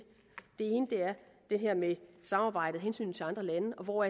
det her med samarbejdet og hensynet til andre lande og hvor